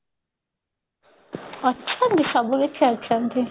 ଅଛନ୍ତି ସବୁ କିଛି ଅଛନ୍ତି